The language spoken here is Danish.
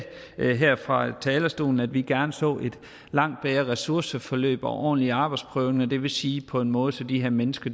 her fra talerstolen at vi gerne så langt bedre ressourceforløb og ordentlige arbejdsprøvninger det vil sige på en måde så de her mennesker